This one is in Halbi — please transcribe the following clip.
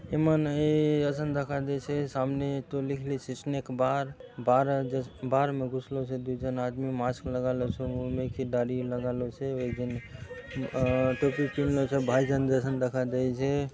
मन ए ए असन दखा देयसे सामने तो लिखली से स्नैक बार बार बार में घुसलों से दूय जन आदमी मास्क लगालो से मुँह में दाढ़ी लगालो से एक जन अ टोपी पिंदलोसे भाई जान जसन दखा देयसे।